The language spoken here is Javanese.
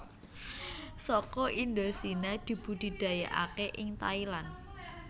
Saka Indochina dibudidayakaké ing Thailand